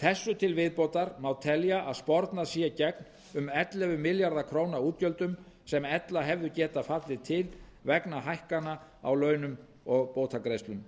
þessu til viðbótar má telja að spornað sé gegn um ellefu milljarða króna útgjöldum sem ella hefðu getað fallið til vegna hækkana á launum og bótagreiðslum